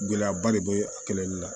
Gɛlɛyaba de bɛ a kɛlɛli la